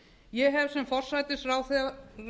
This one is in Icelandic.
ég hef sem forsætisráðherra